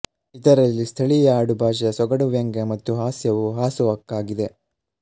ಇದರಲ್ಲಿ ಸ್ಥಳೀಯ ಆಡು ಭಾಷೆಯ ಸೊಗಡುವ್ಯಂಗ್ಯ ಮತ್ತು ಹಾಸ್ಯವು ಹಾಸುಹೊಕ್ಕಾಗಿದೆ